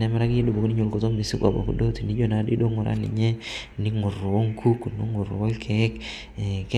nemaraa abaki duo ninye lkutoo mesigoo abaki duo tinijo naadei duo ng'uraa ninye ning'ur onkuk ningur olkeek.